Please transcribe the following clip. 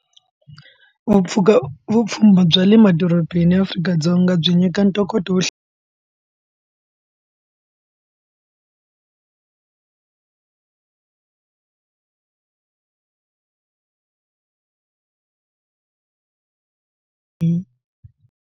Vupfuya vupfhumba bya le madorobeni ya Afrika-Dzonga byi nyika ntokoto wo hi.